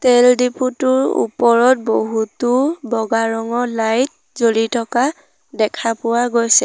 তেল ডিপো টোৰ ওপৰত বহুতো বগা ৰঙৰ লাইট জ্বলি থকা দেখা পোৱা গৈছে।